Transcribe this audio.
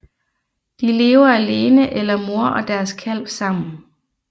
De lever alene eller mor og deres kalv sammen